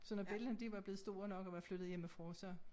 Så når bellana de var blevet store nok og var flyttet hjemmfra så